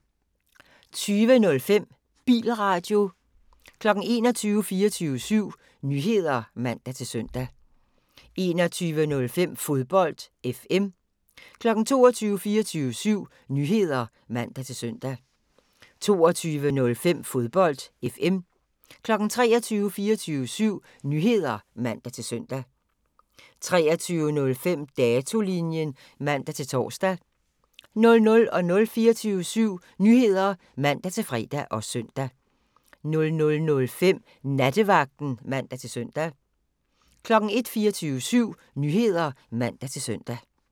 20:05: Bilradio 21:00: 24syv Nyheder (man-søn) 21:05: Fodbold FM 22:00: 24syv Nyheder (man-søn) 22:05: Fodbold FM 23:00: 24syv Nyheder (man-søn) 23:05: Datolinjen (man-tor) 00:00: 24syv Nyheder (man-fre og søn) 00:05: Nattevagten (man-søn) 01:00: 24syv Nyheder (man-søn)